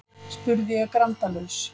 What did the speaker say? spurði ég grandalaus.